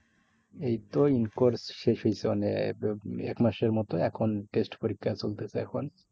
এই তো in course শেষ হয়েছে এক মাসের মতো, এখন test পরীক্ষা চলতেছে এখন।